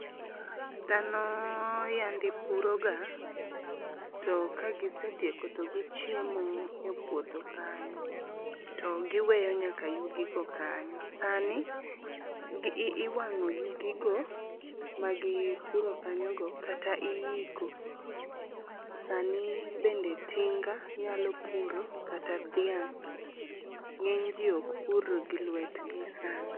Dhano yande puroga to ka gisetieko to gichiemo e puodho kanyo, to giweyo nyaka yugigo kanyo. Sani iwang'o yugigo magipuro kanyogo kata iiko ,sani bende tinga nyalo puro kata dhiang'. Ng'enyji ok pur gi lwetgi sani.